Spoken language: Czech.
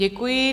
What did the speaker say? Děkuji.